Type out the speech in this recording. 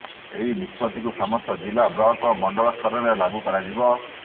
ଏହି ନିଷ୍ପତ୍ତିକୁ ସମସ୍ତ ଜିଲ୍ଲା ବ୍ଲକ ଓ ମଣ୍ଡଳସ୍ତରରେ ଲାଗୁ କରାଯିବ